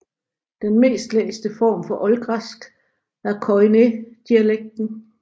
Den mest læste form for oldgræsk er koiné dialekten